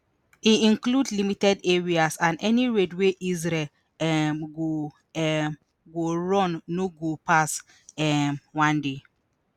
e include limited areas and any raid wey israel um go um go run no go pass um one day